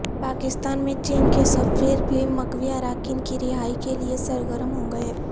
پاکستان میں چین کے سفیر بھی مغوی اراکین کی رہائی کے لیے سرگرم ہو گئے